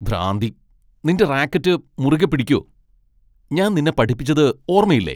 ഭ്രാന്തി. നിന്റെ റാക്കറ്റ് മുറുകെ പിടിക്കൂ . ഞാൻ നിന്നെ പഠിപ്പിച്ചത് ഓർമ്മയില്ലേ.